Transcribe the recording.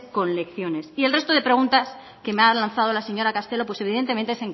con lecciones y el resto de preguntas que me ha lanzado la señora castelo pues evidentemente